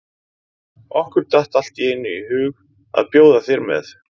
Okkur datt allt í einu í hug að bjóða þér með.